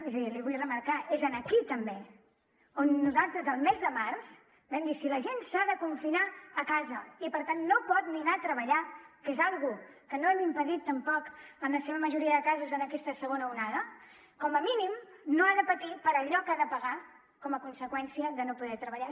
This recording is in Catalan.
és a dir l’hi vull remarcar és aquí també on nosaltres al mes de març vam dir si la gent s’ha de confinar a casa i per tant no pot ni anar a treballar que és una cosa que no han impedit tampoc en la seva majoria de casos en aquesta segona onada com a mínim no ha de patir per allò que ha de pagar com a conseqüència de no poder treballar